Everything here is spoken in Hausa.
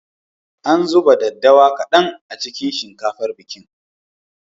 An zuba daddawa kaɗan a cikin shinkafar bikin.